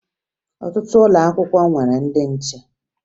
Ọtụtụ ụlọ akwụkwọ nwere ndị nche